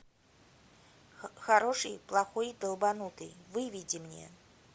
хороший плохой долбанутый выведи мне